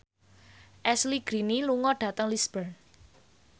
Ashley Greene lunga dhateng Lisburn